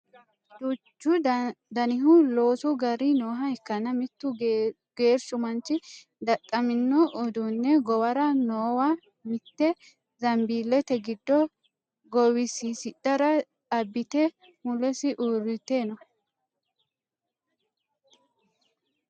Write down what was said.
duuchu danihu loosu gari nooha ikkanna mittu geerchu manchi dadhamino uduunne gowara noowa mitte zanbiillete giddo gowisiisidhara abbite mulesi uurrite no